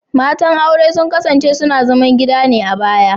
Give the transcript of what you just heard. Matan aure sun kasance suna zaman gida ne a baya